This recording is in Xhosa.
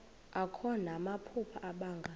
akho namaphupha abanga